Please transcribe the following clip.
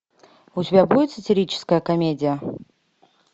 у тебя будет сатирическая комедия